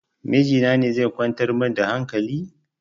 Miji na ne zai kwantar min da hankali?